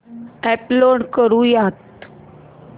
upload करुयात